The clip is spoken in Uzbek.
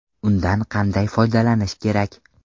Undan qanday foydalanish kerak?.